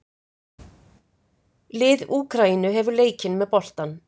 Lið Úkraínu hefur leikinn með boltann